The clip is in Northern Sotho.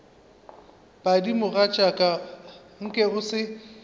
padi mogatšaka nke o se